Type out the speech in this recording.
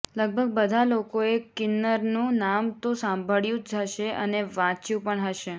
લગભગ બધા લોકોએ કિન્નરનું નામ તો સાંભળ્યું જ હશે અને વાંચ્યું પણ હશે